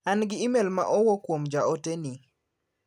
An gi imel ma owuk kuom ja ote ni.